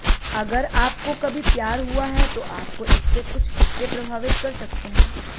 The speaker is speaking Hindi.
अगर आपको कभी प्यार हुआ है तो आपको इसके कुछ हिस्से प्रभावित कर सकते हैं